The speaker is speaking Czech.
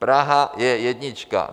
Praha je jednička.